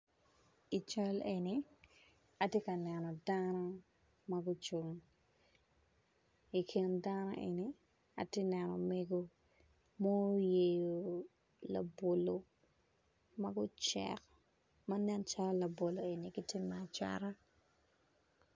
I cal eni atye ka neno dano magucung i kin dano eni atye ka neno mego ma oyeo labolo magucek manen calo laobolo eni gitye macata.